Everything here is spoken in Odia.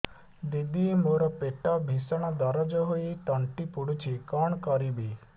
ଦିଦି ମୋର ପେଟ ଭୀଷଣ ଦରଜ ହୋଇ ତଣ୍ଟି ପୋଡୁଛି କଣ କରିବି